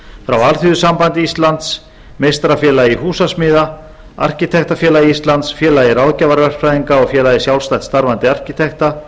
frá alþýðusambandi íslands meistarafélagi húsasmiða arkitektafélagi íslands félagi ráðgjafarverkfræðinga og félagi sjálfstætt starfandi arkitekta